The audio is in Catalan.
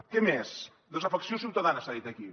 què més desafecció ciutadana s’ha dit aquí